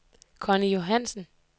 Conny Johannsen